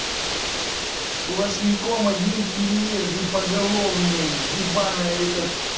сплошняком одни переезды поголовные ебанное это